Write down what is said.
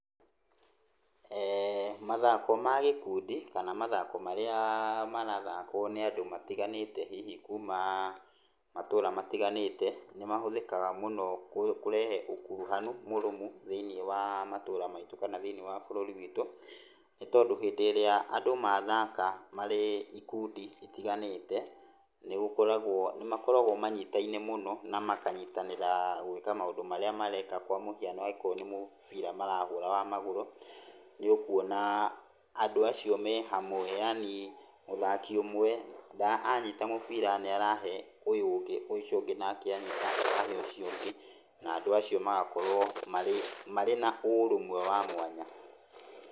Mathako ma gĩkundi kana mathako marĩa marathakwo nĩ andũ arĩa matiganĩte hihi kuuma matũra matiganĩte. Nĩ mahũthĩkaga mũno kũrehe ũkuruhanu mũrũmu thĩinĩ wa matũra maitũ kana thĩinĩ wa bũrũri witũ. Nĩ tondũ hĩndĩ ĩrĩa andũ mathaka marĩ ikundi itiganĩte, nĩ makoragwo manyitaine mũno, na makanyitanĩra gũĩka maũndũ marĩa mareka. Kwa mũhiano nĩ mũbira marahũra wa magũrũ, nĩ ũkuona andũ acio marĩ hamwe, yaani mũthaki ũmwe anyita mũbira nĩ arahe ũyũ ũngĩ na ũyũ ũngĩ nĩ arahe ũcio ũngĩ, na andũ acio magakorwo marĩ na ũrũmwe wa mwanya.